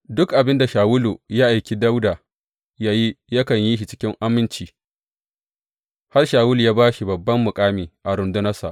Duk abin da Shawulu ya aiki Dawuda yă yi yakan yi shi cikin aminci, har Shawulu ya ba shi babban makami a rundunarsa.